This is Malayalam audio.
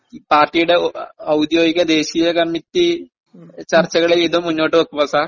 സാർ, ഇത് പാർട്ടിയുടെ ഔദ്യോഹിക ദേശീയ കമ്മിറ്റി ചര്ച്ചകള് ചെയ്ത് മുന്നോട്ടുവയ്ക്കുമോ സാർ?